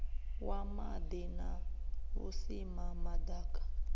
wa maḓi na vhusimama ḓaka